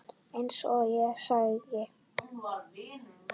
Eins og ég segi.